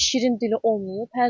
Bir şirin dili olmayıb.